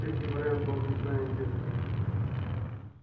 третий вариант должностная известность